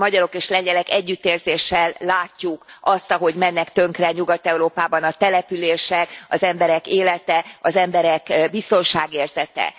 Mi magyarok és lengyelek együttérzéssel látjuk azt, ahogy mennek tönkre Nyugat Európában a települések, az emberek élete, az emberek biztonságérzete.